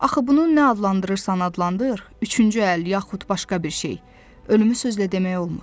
Axı bunun nə adlandırırsan adlandır, üçüncü əl yaxud başqa bir şey, ölümü sözlə demək olmur.